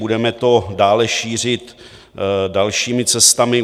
Budeme to dále šířit dalšími cestami.